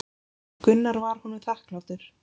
Gunnar var honum þakklátur.